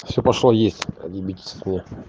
все пошло есть отьебитесь от меня